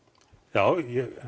já